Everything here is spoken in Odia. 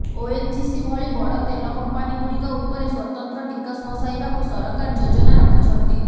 ଓଏନ୍ଜିସି ଭଳି ବଡ଼ ତେଲ କଂପାନିଗୁଡ଼ିକ ଉପରେ ସ୍ୱତନ୍ତ୍ର ଟିକସ ବସାଇବାକୁ ସରକାର ଯୋଜନା ରଖିଛନ୍ତି